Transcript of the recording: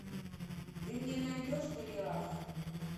ты мне найдешь голиаф